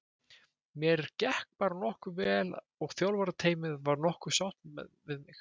Mér gekk bara nokkuð vel og þjálfarateymið var nokkuð sátt við mig.